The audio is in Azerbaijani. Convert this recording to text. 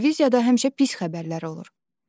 Televiziyada həmişə pis xəbərlər olur.